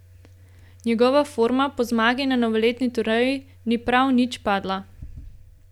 Njegova forma po zmagi na novoletni turneji ni prav nič padla.